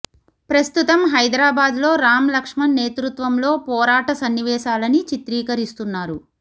ప్రస్తుతం హైదరాబాద్ లో రామ్ లక్ష్మణ్ నేతృత్వంలో పోరాట సన్నివేశాలని చిత్రీకరిస్తున్నారు